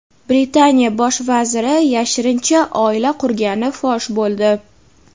Britaniya Bosh vaziri yashirincha oila qurgani fosh bo‘ldi.